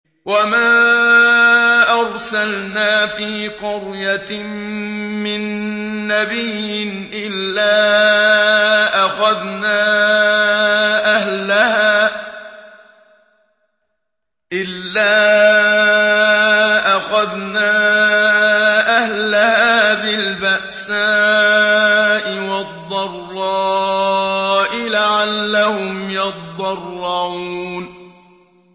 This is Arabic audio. وَمَا أَرْسَلْنَا فِي قَرْيَةٍ مِّن نَّبِيٍّ إِلَّا أَخَذْنَا أَهْلَهَا بِالْبَأْسَاءِ وَالضَّرَّاءِ لَعَلَّهُمْ يَضَّرَّعُونَ